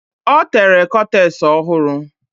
Ọ tere kọtes ọ hụrụ.